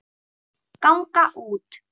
ganga út